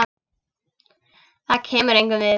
Það kemur engum við.